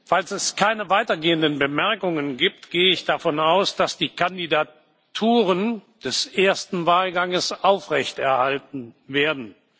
Falls es keine weitergehenden Bemerkungen gibt, gehe ich davon aus, dass die Kandidaturen des ersten Wahlganges aufrechterhalten werden.